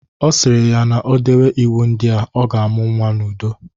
Ọ sịrị ya na-odewe iwu ndị a, ọ ga-amụ nwa n'udo.